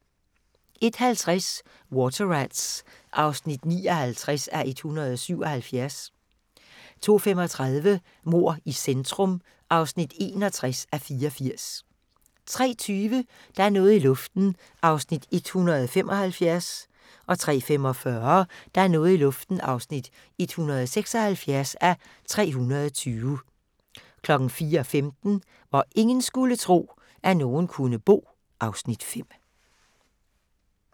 01:50: Water Rats (59:177) 02:35: Mord i centrum (61:84) 03:20: Der er noget i luften (175:320) 03:45: Der er noget i luften (176:320) 04:15: Hvor ingen skulle tro, at nogen kunne bo (Afs. 5)